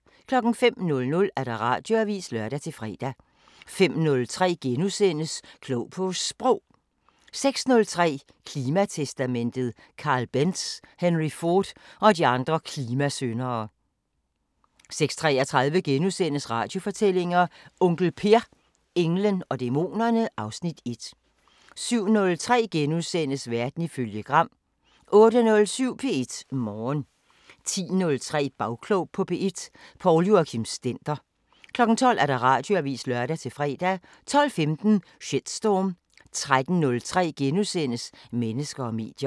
05:00: Radioavisen (lør-fre) 05:03: Klog på Sprog * 06:03: Klimatestamentet: Karl Benz, Henry Ford og de andre klimasyndere 06:33: Radiofortællinger: Onkel Per – englen og dæmonerne (Afs. 1)* 07:03: Verden ifølge Gram * 08:07: P1 Morgen 10:03: Bagklog på P1: Poul Joachim Stender 12:00: Radioavisen (lør-fre) 12:15: Shitstorm 13:03: Mennesker og medier *